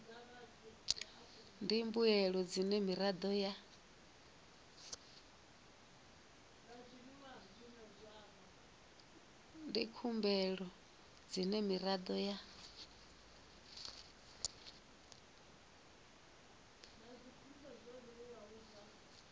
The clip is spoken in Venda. ndi mbuelo dzine miraḓo ya